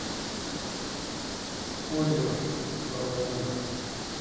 озеров про войну